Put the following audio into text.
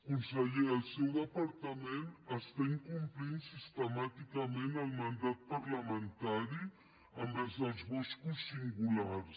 conseller el seu departament està incomplint sistemàticament el mandat parlamentari envers els boscos singulars